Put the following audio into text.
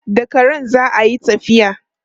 Da karen za a yi tafiya.